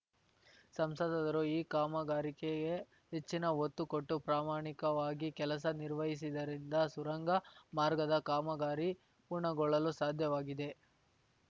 ಸಂಸದರು ಈ ಕಾಮಗಾರಿಕೆಗೆ ಹೆಚ್ಚಿನ ಒತ್ತು ಕೊಟ್ಟು ಪ್ರಾಮಾಣಿಕವಾಗಿ ಕೆಲಸ ನಿರ್ವಹಿಸಿದ್ದರಿಂದ ಸುರಂಗ ಮಾರ್ಗದ ಕಾಮಗಾರಿ ಪೂರ್ಣಗೊಳ್ಳಲು ಸಾಧ್ಯವಾಗಿದೆ